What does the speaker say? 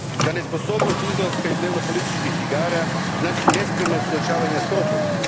Ta nesposobnost izlaska iz dnevnopolitičkih igara znači nespremnost suočavanja s prošlošću.